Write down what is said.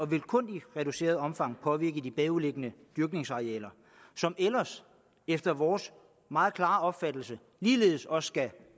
vil kun i reduceret omfang påvirke de bagvedliggende dyrkningsarealer som ellers efter vores meget klare opfattelse ligeledes også skal